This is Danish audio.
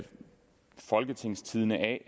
folketingstidende a